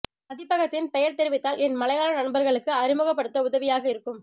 பதிப்பகத்தின் பெயர் தெரிவித்தால் என் மலையாள நண்பர்களுக்கு அறிமுகப்படுத்த உதவியாக இருக்கும்